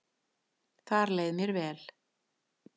Þar leið mér vel